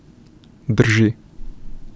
Drži.